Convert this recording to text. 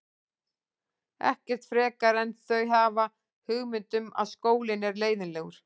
Ekkert frekar en þau hafa hugmynd um að skólinn er leiðinlegur.